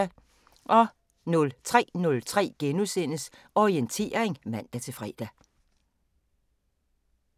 03:03: Orientering *(man-fre)